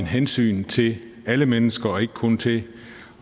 hensyn til alle mennesker og ikke kun til